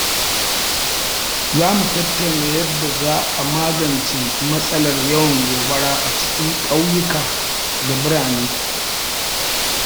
Za mu tattauna yadda za a magance matsalar yawan gobara a cikin ƙauyuka da birane.